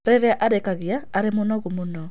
Rĩrĩa arĩkagia arĩ mũnogu mũno.